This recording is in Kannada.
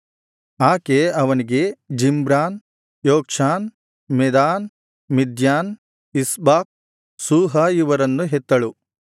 ಆಕೆ ಅವನಿಗೆ ಜಿಮ್ರಾನ್ ಯೊಕ್ಷಾನ್ ಮೆದಾನ್ ಮಿದ್ಯಾನ್ ಇಷ್ಬಾಕ್ ಶೂಹ ಇವರನ್ನು ಹೆತ್ತಳು